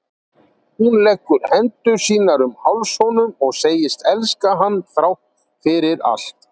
Hún leggur hendur sínar um háls honum og segist elska hann þrátt fyrir allt.